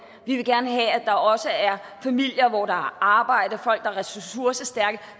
vi vil gerne have at der også er familier hvor man har arbejde folk der er ressourcestærke